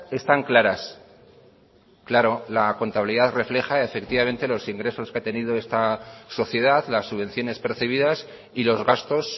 están claras claro la contabilidad refleja efectivamente los ingresos que ha tenido esta sociedad las subvenciones percibidas y los gastos